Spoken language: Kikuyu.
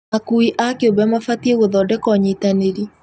Akui a kĩũmbe mabatiĩ gũthondeka ũnyitanĩri